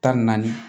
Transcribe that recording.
Tan ni naani